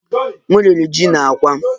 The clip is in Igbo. M riri ji na àkwá